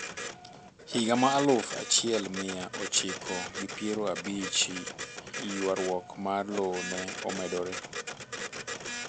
Higa ma aluf achiel mia ochiko gi piero abich ywaruok mar lowo ne omedore